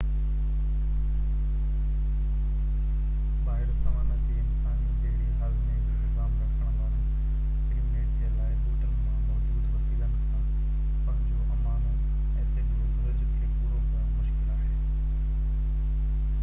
ٻاهر سوانا تي انسانن جهڙي هاضمي جو نظام رکڻ واران پرييميٽ جي لاءِ ٻوٽن مان موجود وسيلن کان پنهنجو امائنو ايسڊ جي گهرج کي پورو ڪرڻ مشڪل آهي